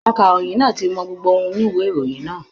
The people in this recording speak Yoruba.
Akàròyìn náà ti mọ gbogbo ohun inú ìwé ìròyìn náà.